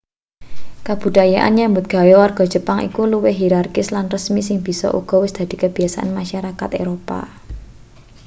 kabudayan nyambut gawe warga jepang kuwi luwih hirarkis lan resmi sing bisa uga wis dadi kabiyasane masarakat eropa